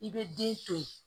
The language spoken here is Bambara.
I bɛ den to yen